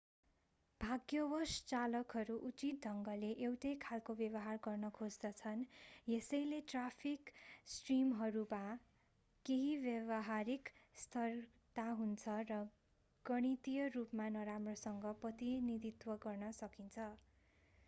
भाग्यवश चालकहरू उचित ढंगले एउटै खालको् व्यवहार गर्न खोज्दछन् यसैले ट्राफिक स्ट्रिमहरूमा केही व्यावहारिक स्थिरता हुन्छ र गणितिय रूपमा नराम्रोसँग प्रतिनिधित्व गर्न सकिन्छ